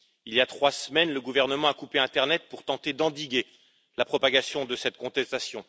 Il y a trois semaines, le gouvernement a coupé internet pour tenter d'endiguer la propagation de cette contestation.